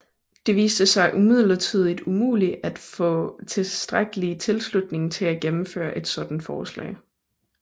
Det viste sig imidlertid umuligt at få tilstrækkelig tilslutning til at gennemføre et sådant forslag